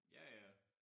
Ja ja